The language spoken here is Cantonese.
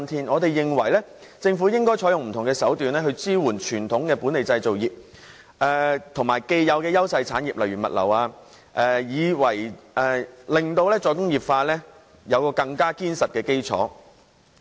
我們認為政府應該採用不同手段，支援本地傳統製造業及既有的優勢產業，例如物流，令"再工業化"有更堅實的基礎。